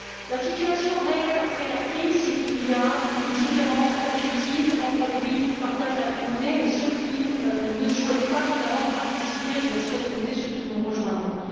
La situation réelle après la crise, c'est qu'il y a une différence objective entre les pays qui partagent la même monnaie et ceux qui ne souhaitent pas y participer je laisserai de côté ceux qui nous rejoindront.